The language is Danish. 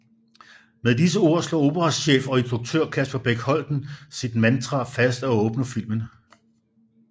Med de ord slår operachef og instruktør Kasper Bech Holten sit mantra fast og åbner filmen